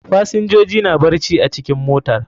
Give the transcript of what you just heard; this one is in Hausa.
Fasinjoji na barci a cikin mota.